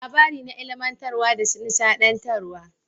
Labari na ilimantarwa da nishadantarwa.